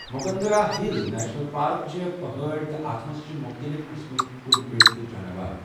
Mukundra Hills National Park چھےٚ پہاڑی تہٕ اتھ منٛز چھِ مُختلِف قٕسمٕک کُلۍ کٔٹۍ تہٕ جاناوار۔